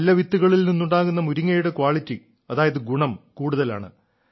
നല്ല വിത്തുകളിൽ നിന്നുണ്ടാകുന്ന മുരിങ്ങയുടെ ക്വാളിറ്റി അതായത് ഗുണം കൂടുതലാണ്